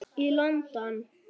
í London.